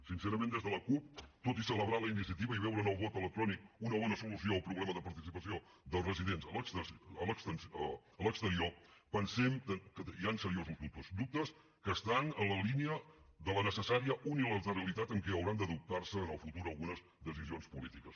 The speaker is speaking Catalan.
sincerament des de la cup tot i celebrar la iniciativa i veure en el vot electrònic una bona solució al problema de participació dels residents a l’exterior pensem que hi han seriosos dubtes dubtes que estan en la línia de la necessària unilateralitat en què hauran d’adoptar se en el futur algunes decisions polítiques